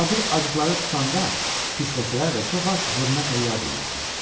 Arabir acıqları tutanda, pisləsələr də, çox vaxt hörmətlə yad edirdilər.